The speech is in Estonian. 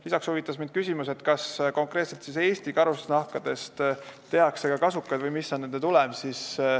Lisaks huvitas mind küsimus, kas konkreetselt Eesti karusnahkadest tehakse ka kasukaid või mis on nende tulem.